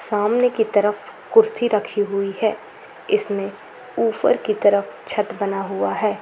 सामने की तरफ कुर्सी रखी हुई है इसमें ऊपर की तरफ छत बना हुआ हैं ।